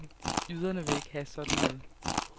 Jyderne vil ikke have sådan noget.